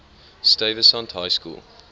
stuyvesant high school